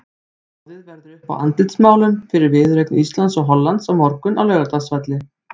Boðið verður upp á andlitsmálun fyrir viðureign Íslands og Hollands á morgun á Laugardalsvelli.